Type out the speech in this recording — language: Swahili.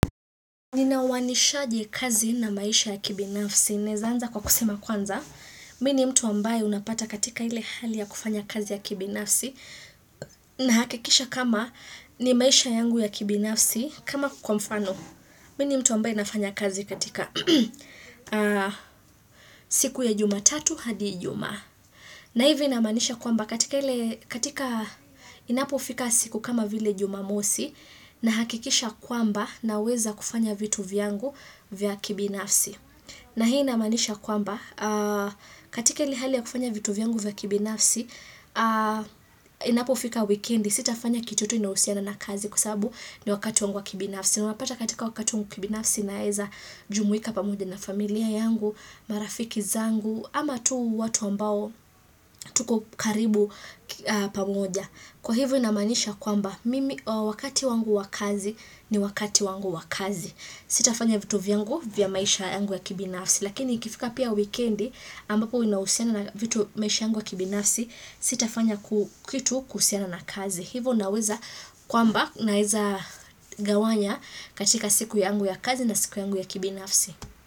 Nina wanishaje kazi na maisha ya kibinafsi. Nezaanza kwa kusema kwanza. Mini mtu ambaye unapata katika ile hali ya kufanya kazi ya kibinafsi. Na hakikisha kama ni maisha yangu ya kibinafsi. Kama kukwamfano. Mini mtu ambaye nafanya kazi katika siku ya jumatatu hadijuma. Na hivi inamanisha kwamba katika inapo fika siku kama vile jumamosi. Na hakikisha kwamba na weza kufanya vitu vyangu vya kibinafsi. Na hii inamanisha kwamba, katika hili hali ya kufanya vitu vyangu vya kibinafsi, inapo fika weekendi, sitafanya kichutu inausiana na kazi kusabu ni wakati wangu wa kibinafsi. Na unapata katika wakati wangu kibinafsi naeza jumuika pamuja na familia yangu, marafiki zangu, ama tuu watu ambao, tuko karibu pamuja. Kwa hivu inamanisha kwamba wakati wangu wakazi ni wakati wangu wakazi. Sitafanya vitu vyangu vya maisha yangu ya kibinafsi. Lakini ikifika pia wikendi ambapo inausiana vitu maisha yangu ya kibinafsi sitafanya kitu kusiana na kazi. Hivu unaweza kwamba naiza gawanya katika siku yangu ya kazi na siku yangu ya kibinafsi.